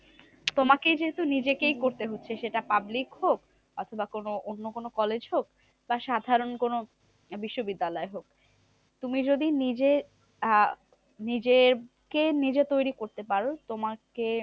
তোমাকেই যেহেতু নিজেকেই করতে হচ্ছে সেটা public হোক অথবা কোনো অন্য কোনো college হোক? সাধারণ কোনো বিশ্ববিদ্যালয় হোক? তুমি যদি নিজের আহ নিজেকে নিজে তৈরী করতে পারো তোমাকে